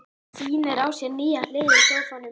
Sýnir á sér nýja hlið í sófanum.